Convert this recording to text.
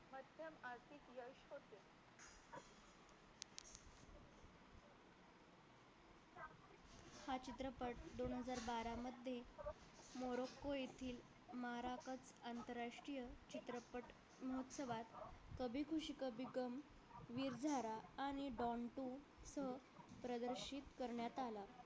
दोन हजार बारा मध्ये morocco येथील maracus आंतरराष्ट्रीय चित्रपट महोत्सवात कभी ख़ुशी कभी गम, विरझारा आणि don two सह प्रदर्शित करण्यात आला